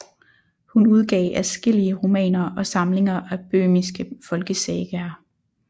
Hun udgav adskillige romaner og samlinger af böhmiske folkesagaer